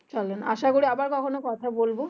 চলেন আসা করি আবার কখনো কথা বলবো।